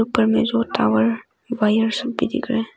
ऊपर में जो टॉवर वही भी दिख रहे--